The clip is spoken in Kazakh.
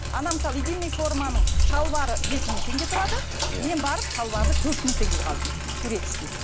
мысалы единный форманың шалбары жеті мың теңге тұрады иә мен барып шалбарды төрт мың теңгеге алдым турецкий